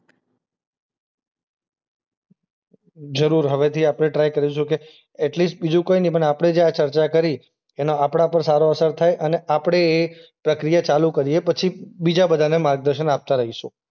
જરૂર હવેથી આપણે ટ્રાય કરીશું કે એટલીસ્ટ બીજું કંઈની પણ આપણે જે આ ચર્ચા કરી એનો આપણા પર સારો અસર થાય અને આપણે એ પ્રક્રિયા ચાલુ કરીએ પછી બીજાબધાને માર્ગદર્શન આપતા રહીશું.